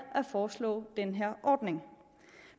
at foreslå den her ordning